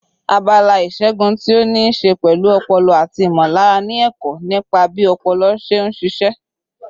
Abala ìṣègun tí ó ní í ṣe pẹ̀lú ọpọlọ àti ìmọ̀lára ni ẹ̀kọ́ nípa bí ọpọlọ ṣe ń ṣiṣẹ́.